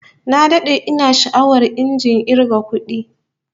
Na dade ina sha'awar injin kirga kudin